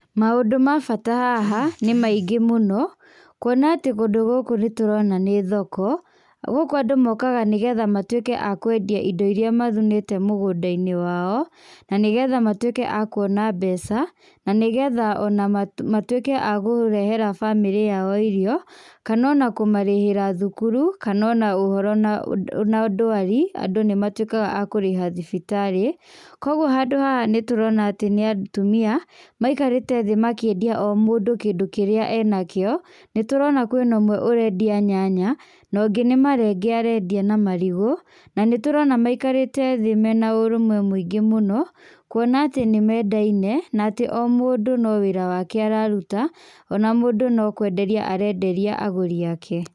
Maũndũ ma bata haha nĩ maingĩ mũno, kuona atĩ kũndũ gũkũ nĩtũrona nĩ thoko, gũkũ andũ mokaga nĩgetha matwĩke a kwendia indo iria mathunĩte mũgũnda-inĩ wao nanĩgetha matwĩke a kuona mbeca nanĩgetha matwĩke akũrehera bamĩrĩ yao irio kana ona kũmarĩhĩra thukuru kana ona ũndũ na ndwarfi andũ nĩmatwĩkaga a kũrĩha thibitarĩ koguo handu haha nĩtũrona atĩ nĩ atumia maikarĩte thĩ o mũndũ akĩendia o kĩndũ kĩrĩa enakĩo, nĩtũrona kwĩ na ũmwe arendia nyanya nongĩ nĩ marenge arendia na marigũ na nĩtũrona atĩ maikarĩte thĩ mena ũrũmwe mũingĩ mũno kuona atĩ nĩmendaine na omũndũ nĩ wĩra wake araruta ona mũndũ no kwenderia arenderia agũri ake.